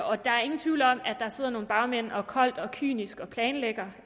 og der er ingen tvivl om at der sidder nogle bagmænd som koldt og kynisk planlægger